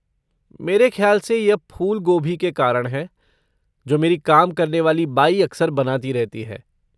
मेरे खयाल से यह फूल गोभी के कारण है जो मेरी काम करने वाली बाई अक्सर बनाती रहती है।